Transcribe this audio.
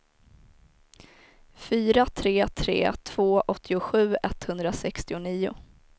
fyra tre tre två åttiosju etthundrasextionio